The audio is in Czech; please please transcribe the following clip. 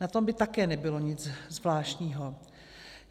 Na tom by také nebylo nic zvláštního.